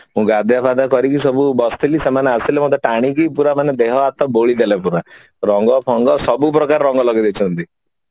ମୁଁ ଗାଧୁଆ ପାଧୁଆ କରିକି ସବୁ ବସିଥିଲି ସେମାନେ ଆସିଲେ ମତେ ଟାଣିକି ପୁରା ମାନେ ଦେହ ହାତ ବୋଲିଦେଲେ ପୁରା ରଙ୍ଗ ଫଙ୍ଗ ସବୁ ପ୍ରକାର ରଙ୍ଗ ଲଗେଇ ଦେଇଛନ୍ତି ପୁରା